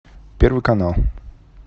первый канал